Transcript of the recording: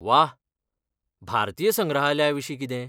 वाह... भारतीय संग्रहालयाविशीं कितें?